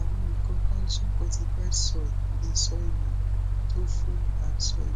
awọn ikan calcium fortified soy bi soy milk toful and soybeans